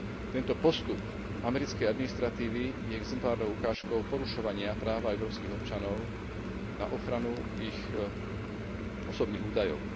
Tento postup americkej administratívy je exemplárnou ukážkou porušovania práva európskych občanov na ochranu ich osobných údajov.